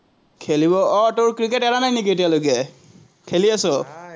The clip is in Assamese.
খেলিব, আহ তোৰ ক্ৰিকেট এৰা নাই নেকি এতিয়ালেকে, খেলি আছ?